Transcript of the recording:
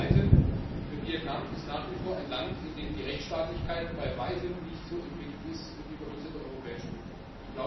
Das Zweite Vietnam ist nach wie vor ein Land, in dem die Rechtstaatlichkeit bei weitem nicht so entwickelt ist wie bei uns in der Europäischen Union.